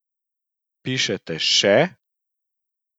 Pišete še?